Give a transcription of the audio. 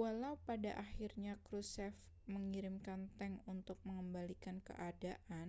walau pada akhirnya krushchev mengirimkan tank untuk mengembalikan keadaan